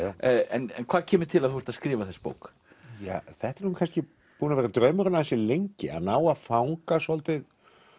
en hvað kemur til að þú ert að skrifa þessa bók ja þetta er kannski búinn að vera draumurinn ansi lengi að ná að fanga svolítið